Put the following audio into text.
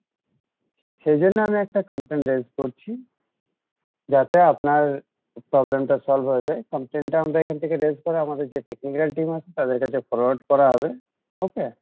সেইজন্য আমি আপনার complain raise করছি যাতে আপনার problem টা solve হয়ে যাই complain টা আমরা এখান থেকে raise করে আমাদের যে technical team আছে তাঁদের কাছে forward করা হবে okay?